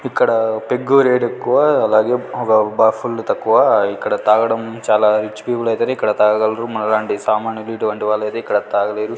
ఇక్కడ peg rate ఎక్కువ అలాగే ఒక బ ఫుల్ తక్కువ ఇక్కడ తాగడం చాలా రిచ్ పీపుల్ ఐతేనే ఇక్కడ తాగగలరు మనలాంటి సామాన్యులు ఇటువంటి వాళ్ళైతే ఇక్కడ తాగలేరు.